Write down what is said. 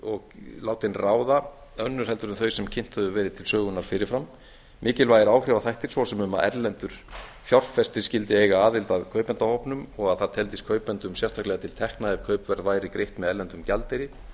og látin ráða önnur heldur en þau sem kynnt höfðu verið til sögunnar fyrir fram mikilvægir áhrifaþættir svo sem um að erlendur fjárfestir skyldi eiga aðild að kaupendahópnum og að það teldist kaupendum sérstaklega til tekna ef kaupverð væri greitt með erlendum gjaldeyri